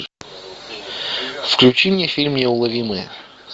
включи мне фильм неуловимые